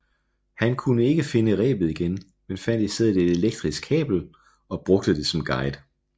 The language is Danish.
Han kunne ikke finde rebet igen men fandt i stedet et elektrisk kabel og brugte det som guide